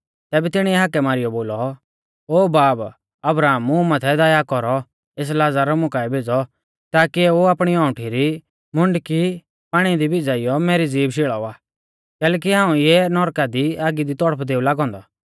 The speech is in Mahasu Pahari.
तैबै तिणीऐ हाकै मारीयौ बोलौ ओ बाब अब्राहम मुं माथै दया कौरौ एस लाज़र मुकाऐ भेज़ौ ताकी एऊ आपणी औंउठी री मुंडकी पाणी दी भिज़ाइयौ मेरी ज़ीभ शेल़ावा कैलैकि हाऊं इऐं नौरका री आगी दी तड़पदेऊ लागौ औन्दौ